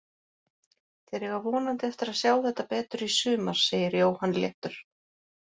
Þeir eiga vonandi eftir að sjá þetta betur í sumar, segir Jóhann léttur.